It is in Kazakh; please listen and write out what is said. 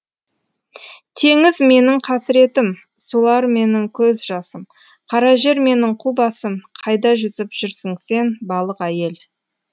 теңіз менің қасіретім сулар менің көз жасым қара жер менің қу басым қайда жүзіп жүрсің сен балық әйел